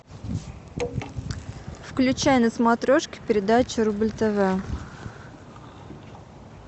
включай на смотрешке передачу рубль тв